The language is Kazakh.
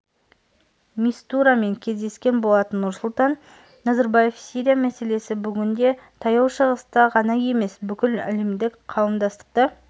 мистурамен кездескен болатын нұрсұлтан назарбаев сирия мәселесі бүгінде таяу шығысты ғана емес бүкіл әлемдік қауымдастықты